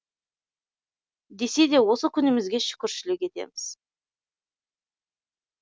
десе де осы күнімізге шүкіршілік етеміз